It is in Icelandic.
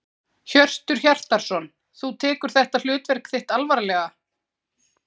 Hjörtur Hjartarson: Þú tekur þetta hlutverk þitt alvarlega?